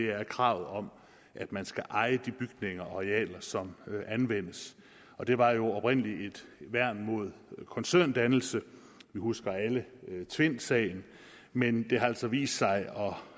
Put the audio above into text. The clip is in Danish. er kravet om at man skal eje de bygninger og arealer som anvendes og det var jo oprindelig et værn mod koncerndannelse vi husker alle tvindsagen men det har altså vist sig